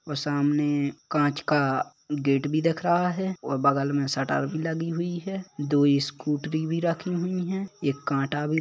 वह सामने कांच का गेट भी दिख रहा है और बगल में शटर भी लगी हुई है दुई स्कूटरी भी रखी हुई है एक कांटा भी --